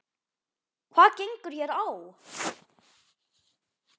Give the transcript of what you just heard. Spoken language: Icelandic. Hvað gengur hér á?